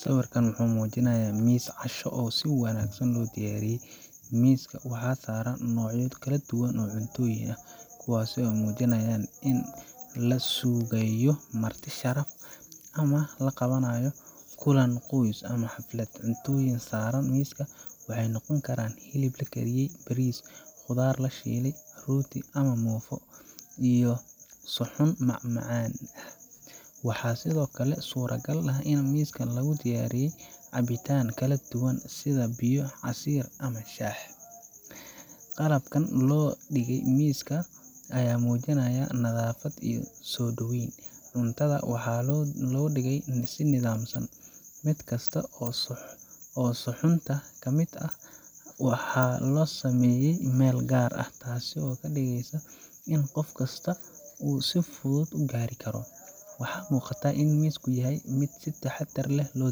Sawirkan wuxuu muujinayaa miis casho oo si wanaagsan loo diyaariyey. Miiska waxa saaran noocyo kala duwan oo cuntooyin ah, kuwaasoo muujinaya in la sugayo marti sharaf ama in la qabanayo kulan qoys ama xaflad. Cuntooyinka saaran miiska waxay noqon karaan hilib la kariyey, bariis, khudaar la shiilay, rooti ama muufo, iyo suxuun macmacaan ah. Waxaa sidoo kale suuragal ah in miiska lagu daray cabitaan kala duwan sida biyo, casiir ama shaah. Qalabka loo dhigay miiska ayaa muujinaya nadaafad iyo soo dhaweyn. Cuntada waxaa loo dhigay si nidaamsan, mid kasta oo suxuunta ka mid ahna waxaa loo sameeyey meel gaar ah, taasoo ka dhigaysa in qof kasta uu si fudud u gaari karo. Waxaa muuqata in miisku yahay mid si taxaddar leh loo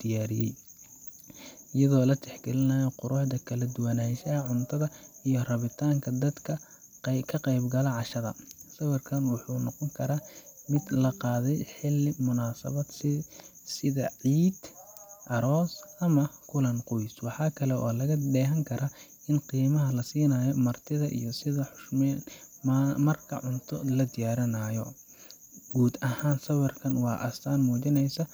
diyaariyey, iyadoo la tixgelinayo quruxda, kala duwanaanshaha cuntada iyo rabitaanka dadka ka qaybgalaya cashada. Sawirkan waxa uu noqon karaa mid la qaaday xilli munaasabad ah sida ciid, aroos, ama kulan qoys. Waxa kale oo laga dheehan karaa qiimaha la siinayo martida iyo sida loo xushmeeyo marka cunto la diyaarinayo. Guud ahaan, sawirku waa astaan muujinaysa